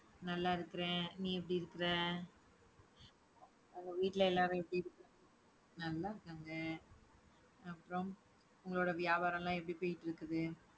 நல்லா இருக்கிறேன். நீ எப்படி இருக்கிற உங்க வீட்டுல எல்லாரும் எப்படி இருக்~ நல்லா இருக்காங்க. அப்புறம், உங்களோட வியாபாரம் எல்லாம் எப்படி போயிட்டிருக்குது